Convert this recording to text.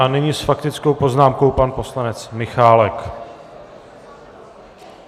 A nyní s faktickou poznámkou pan poslanec Michálek.